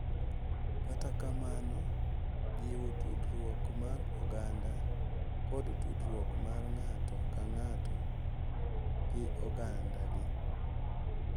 Kata kamano, jiwo tudruok mar oganda kod tudruok mar ng’ato ka ng’ato gi ogandagi.